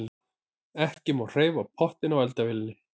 Ekki má hreyfa pottinn á eldavélinni.